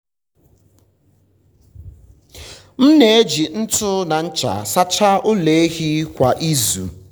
m na-eji ntu na ncha sachaa ụlọ ehi kwa izu.